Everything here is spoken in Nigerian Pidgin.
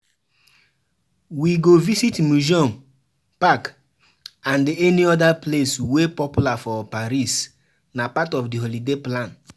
We go visit museum, park, and any other place wey popular for Paris nah part of di holiday plan.